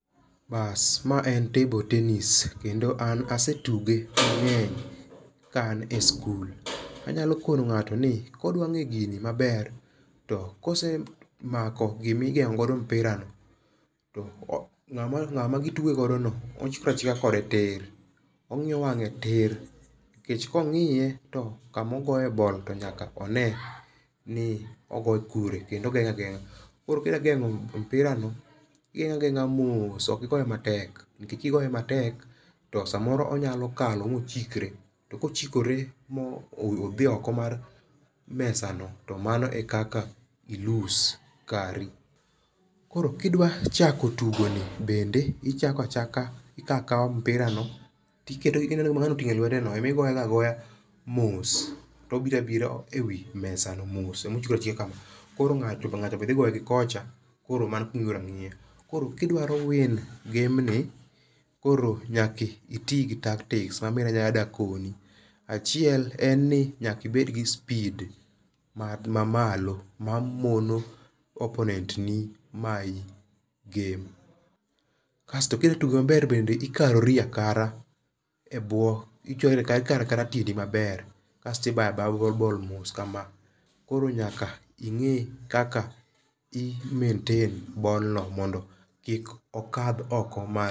Baas mae en table tennis kendo an asetuge mangeny ka an e school anyalo kono ngato ni kodwa ng'e gini maber to kose mako gimi geng'o godo mpira no to ng'ama gitugo godo no ochikre achika kode tir to ong'iyo wang'e tir nikech kong'iye to kama ogoye bol to nyaka onee ni ogoye kure to kendo ogeng'e ageng'a to kidwa geng'o mpira no igeng'e ageng'a moss okogoe matek nikech kigoe matek to onyalo kalo mo chikre mothi oko mar mesa no to mano ekaka i loss kari. Koro kidwa chako tigoni bende ichako achaka ikawa kawa mpirano kedo ineno gima ng'ano otinge e lwete no ema igiye go agoya moss to obira bira ewi mesa no moss koro ngacha be thii goe gi kocha koro kidwaro win game ni nyaka itii gi tactics ma bende adwa koni achiel en ni nyaka ined gii speed ma malo ma mono opponent mayi game, kasto kidwa tuge maber bede ikarori akara ebwe ikara kaea tiendi maber kasti baya baya bol mos koro nyaka ingee kaka i maintain bol mondo kok okath oko.